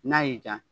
N'a y'i ja